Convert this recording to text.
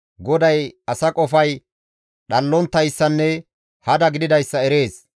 GODAY asa qofay dhallonttayssanne hada gididayssa erees.